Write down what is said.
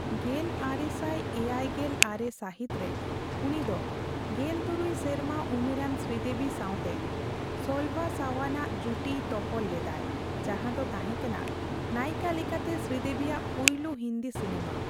ᱜᱮᱞ ᱟᱨᱮ ᱥᱟᱭ ᱮᱭᱟᱭ ᱜᱮᱞ ᱟᱨᱮ ᱥᱟᱹᱦᱤᱛᱨᱮ, ᱩᱱᱤ ᱫᱚ ᱜᱮᱞ ᱛᱩᱨᱩᱭ ᱥᱮᱨᱢᱟ ᱩᱢᱮᱨᱟᱱ ᱥᱨᱤᱫᱮᱵᱤ ᱥᱟᱣᱛᱮ ᱥᱚᱞᱵᱷᱟ ᱥᱟᱣᱟᱱᱼᱟᱜ ᱡᱩᱴᱤᱭ ᱛᱚᱯᱚᱞ ᱞᱮᱫᱟᱭ, ᱡᱟᱦᱟᱸᱫᱚ ᱛᱟᱦᱮᱱᱠᱟᱱᱟ ᱱᱟᱭᱤᱠᱟ ᱞᱮᱠᱟᱛᱮ ᱥᱨᱤᱫᱮᱵᱤᱭᱟᱜ ᱯᱩᱭᱞᱩ ᱦᱤᱱᱫᱤ ᱥᱤᱱᱟᱹᱢᱟ ᱾